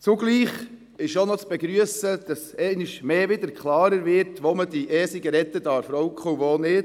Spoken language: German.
Zugleich ist zu begrüssen, dass einmal mehr klarer wird, wo diese E-Zigaretten geraucht werden dürfen und wo nicht.